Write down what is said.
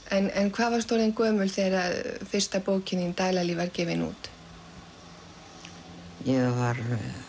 en hvað varstu orðin gömul þegar að fyrsta bókin þín Dalalíf var gefin út ég var